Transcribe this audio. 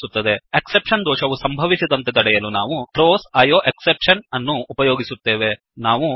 exception exception ದೋಷವು ಸಂಭವಿಸದಂತೆ ತಡೆಯಲು ನಾವು ಥ್ರೋಸ್ ಐಯೋಎಕ್ಸೆಪ್ಷನ್ ಥ್ರೋಸ್ ಐಓಎಕ್ಸೆಪ್ಷನ್ ಅನ್ನು ಉಪಯೋಗಿಸುತ್ತೇವೆ